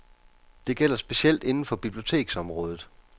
Det gælder specielt inden for biblioteksområdet.